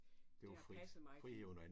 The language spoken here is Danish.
Det har passet mig godt